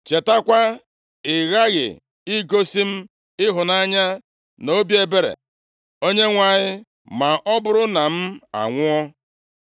Chetakwa, i ghaghị igosi m ịhụnanya na obi ebere Onyenwe anyị, ma ọ bụrụ na m anwụọ.